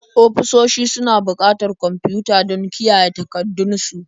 Ofisoshi suna buƙatar kwamfiyuta don kiyaye takardun su.